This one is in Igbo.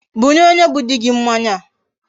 Bunye onye bu di gi mmanya a